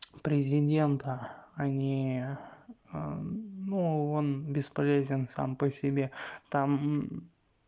президента а ни ну он бесполезен сам по себе там